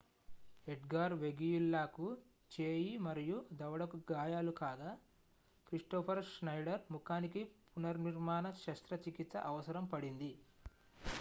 Edgar వెగుయిల్లాకు చేయి మరియు దవడకు గాయాలు కాగా క్రిస్టోఫర్ ష్నైడర్ ముఖానికి పునర్నిర్మాణ శస్త్రచికిత్స అవసరం పడింది